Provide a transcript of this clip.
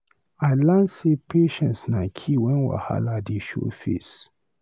I learn sey patience na key wen wahala dey show face.